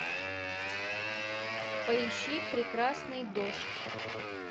поищи прекрасный дождь